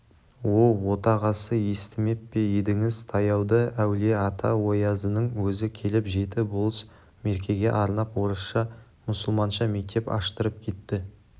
оу отағасы естімеп пе едіңіз таяуда әулие-ата оязының өзі келіп жеті болыс меркеге арнап орысша-мұсылманша мектеп аштырып кетті